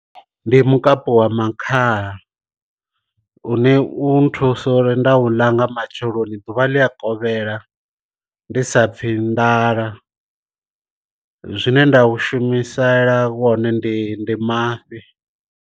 Ndi mukapu wa makhaha u ne u nthusa uri nda u langa matsheloni ḓuvha ḽi a kovhela ndi sa pfhi nḓala, zwine nda u shumisela wone ndi ndi mafhi.